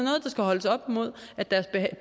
skal holdes op imod at deres